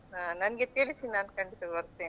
ಹಾ ನನ್ಗೆ ತಿಳಿಸಿ ನಾನ್ ಖಂಡಿತಾ ಬರ್ತೇನೆ ಹಾ .